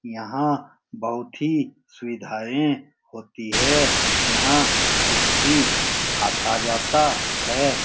यहाँ बहोत ही सुविधाएं होती है यहाँ चिट्ठी आता-जाता है।